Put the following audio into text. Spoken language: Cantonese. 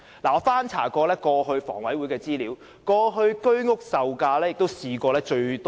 我曾翻查房委會的資料，以往居屋售價最低是四折。